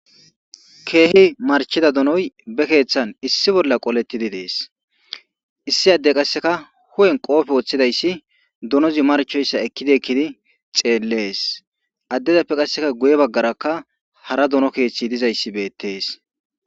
Keehi marchida donoy be keeththan issi bolla qolettidi dees issi adde qasseka hu'en qoofe woththidayssi donozi marchoyssa ekkidi ekkidi xeellees addezappe qasseka guye baggaraka hara dono keeththi dizayssi beettees.